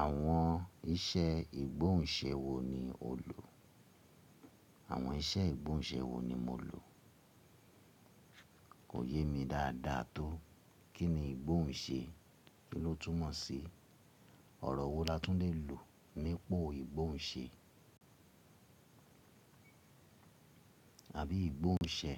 Àwọn iṣẹ́ ìgbóhùnṣe wo ni o lò? Àwọn iṣẹ́ ìgbóhùnṣe wo ni mo lò? Kò yé mi dáadáa tó. Kí ni ìgbóhùnṣe? Kí ló túmọ̀ sí ọ̀rọ̀ wo Látúnlé lò nípa ìgbóhùnṣe? Àbí ìgbóhùnsẹ̀?